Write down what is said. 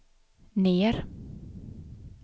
ner